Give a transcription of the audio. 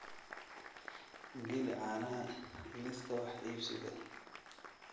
geli caanaha liiska wax iibsiga